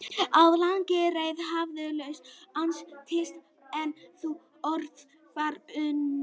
Á langri leið hafði hluti hans týnst en úr öðru var unnið.